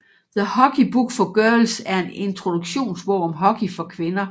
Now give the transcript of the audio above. The Hockey Book For Girls er en introduktionsbog om hockey for kvinder